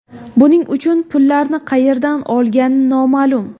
Buning uchun pullarni qayerdan olgani noma’lum.